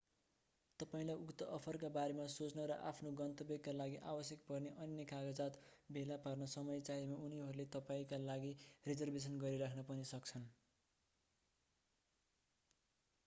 तपाईंलाई उक्त अफरका बारेमा सोच्न वा आफ्नो गन्तव्यका लागि आवश्यक पर्ने अन्य कागजात जस्तै भिसा भेला पार्न समय चाहिएमा उनीहरूले तपाईंका लागि रिजर्भेसन गरिराख्न पनि सक्छन्।